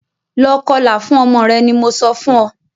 Lọ kọlà fún ọmọ rẹ ní mọ sọ fún óò!